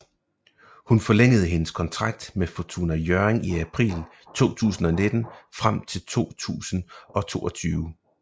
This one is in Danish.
Hun forlængede hendes kontrakt med Fortuna Hjørring i april 2019 frem til 2022